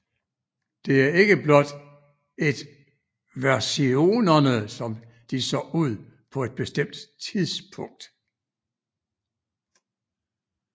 Det er ikke blot et versionerne som de så ud på et bestemt tidspunkt